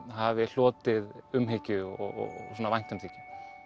hafi hlotið umhyggju og svona væntumþykju